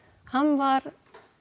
hann var